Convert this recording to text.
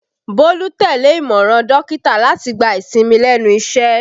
Bólú tẹ́lẹ̀ ìmọ̀ràn dókítà láti gba ìsinmi lẹ́nu iṣẹ́